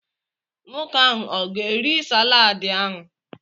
Nwoke ahụ ọ ga-eri salaadi ahụ?